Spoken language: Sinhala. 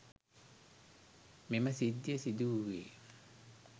මෙම සිද්ධිය සිදු වූයේ